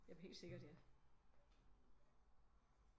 Jamen helt sikkert ja